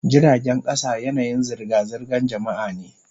Jiragen kasa yanayin zirga-zirgar jama'a ne.